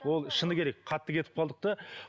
ол шыны керек қатты кетіп қалдық та